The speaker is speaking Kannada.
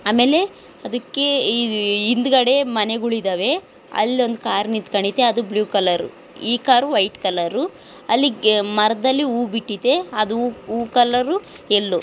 ಆಮೇಲೆ ಅದರ ಹಿಂದೆ ಮನೆಗಳಿವೆ ಅಲ್ಲೊಂದು ಕಾರ್ ನಿಂತ್ಕೊಂಡೈತೆ ಅದು ಬ್ಲೂ ಕಲರ್ ಈ ಕಾರುವ ಏಕೆಂದರೆ ಮರದಲ್ಲಿ ಹೂ ಬಿಟ್ಟೈತೆ ಅವು ಕಲರು ಎಲ್ಲೋ. --